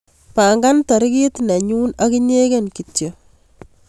Pangan tarikit nenyun ak inyegen kityo